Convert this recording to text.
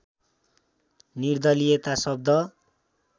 निर्दलियता शब्द